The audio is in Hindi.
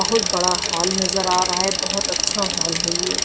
बहुत बड़ा हॉल नजर आ रहा है बहोत अच्छा हॉल है ये।